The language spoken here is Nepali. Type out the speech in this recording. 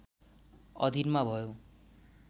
अधिनमा भयो